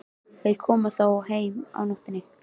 Þeir koma þó heim á nóttunni.